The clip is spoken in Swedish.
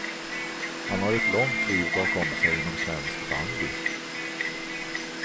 Han har ett långt liv bakom sig inom svensk bandy.